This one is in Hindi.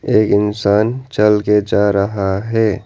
एक इंसान चलके जा रहा है।